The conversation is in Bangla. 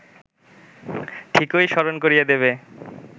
ঠিকই স্মরণ করিয়ে দেবে